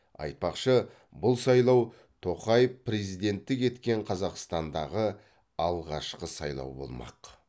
айтпақшы бұл сайлау тоқаев президенттік еткен қазақстандағы алғашқы сайлау болмақ